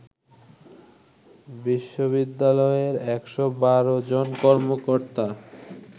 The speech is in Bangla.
বিশ্ববিদ্যালয়ে ১১২ জনকর্মকর্তা